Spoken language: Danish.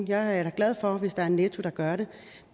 jeg er da glad for hvis der er en netto der gør det